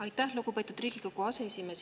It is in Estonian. Aitäh, lugupeetud Riigikogu aseesimees!